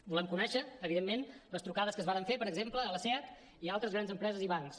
volem conèixer evidentment les trucades que es varen fer per exemple a la seat i a altres grans empreses i bancs